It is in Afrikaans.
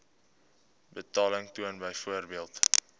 betaling toon byvoorbeeld